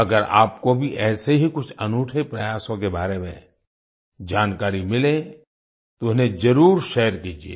अगर आपको भी ऐसे ही कुछ अनूठे प्रयासों के बारे में जानकारी मिले तो उन्हें जरुर शेयर कीजिए